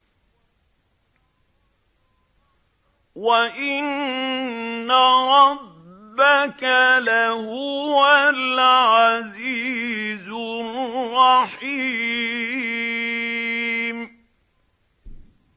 وَإِنَّ رَبَّكَ لَهُوَ الْعَزِيزُ الرَّحِيمُ